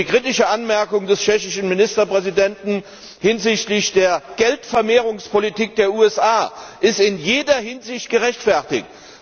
Die kritische Anmerkung des tschechischen Ministerpräsidenten hinsichtlich der Geldvermehrungspolitik der USA ist in jeder Hinsicht gerechtfertigt.